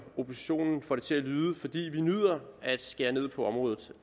oppositionen får det til at lyde fordi vi nyder at skære ned på området